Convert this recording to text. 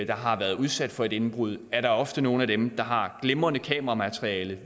der har været udsat for indbrud er der ofte nogle af dem der har glimrende kameramateriale